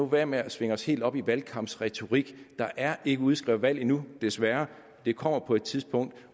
være med at svinge os helt op til valgkampsretorik der er ikke udskrevet valg endnu desværre det kommer på et tidspunkt